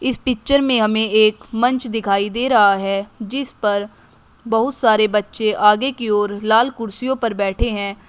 इस पिक्चर में हमें एक मंच दिखाई दे रहा है जिसपर बहुत सारे बच्चे आगे की ओर लाल कुर्सियों पर बैठे हैं।